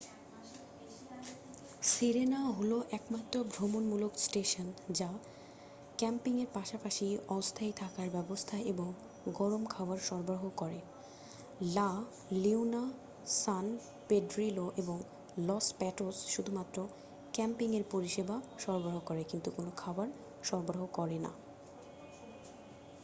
সিরেনা হল একমাত্র ভ্রমণমূলক স্টেশন যা ক্যাম্পিংয়ের পাশাপাশি অস্থায়ী থাকার ব্যবস্থা এবং গরম খাবার সরবরাহ করে লা লিওনা সান পেড্রিলো এবং লস প্যাটোস শুধুমাত্র ক্যাম্পিংয়ের পরিষেবা সরবরাহ করে কিন্তু কোনও খাবার সরাবরাহ করে না